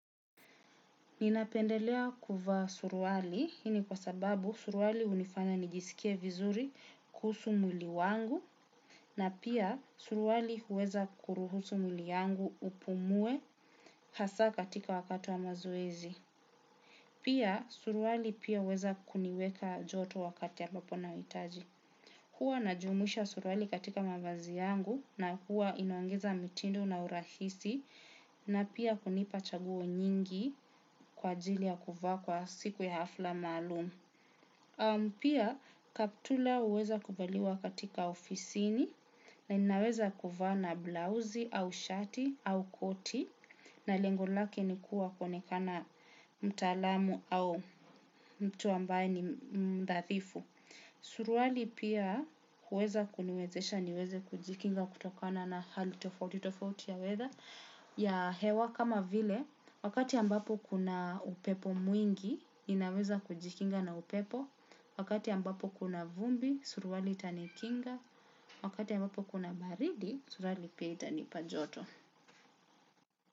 Ninapendelea kuvaa suruali, hii ni kwa sababu suruali hunifanya nijisikie vizuri kuhusu mwili wangu, na pia suruali huweza kuruhusu mwili yangu upumue hasa katika wakati wa mazoezi. Pia suruali pia huweza kuniweka joto wakati ambapo nauhitaji. Huwa inajumisha suruali katika mavazi yangu na huwa inaongeza mitindo na urahisi na pia kunipa chaguo nyingi kwa ajili ya kuvaa kwa siku ya hafla maalum. Pia kaptula huweza kuvaliwa katika ofisini na ninaweza kuvaa na blauzi au shati au koti na lengo lake ni kuwa kuonekana mtaalamu au mtu ambaye ni mbathifu. Suruali pia huweza kuniwezesha niweze kujikinga kutokana na hali tofauti tofauti ya weather ya hewa kama vile wakati ambapo kuna upepo mwingi ninaweza kujikinga na upepo. Wakati ambapo kuna vumbi suruali itanikinga. Wakati ambapo kuna baridi suruali pia itanipa joto.